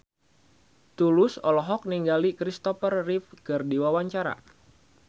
Tulus olohok ningali Kristopher Reeve keur diwawancara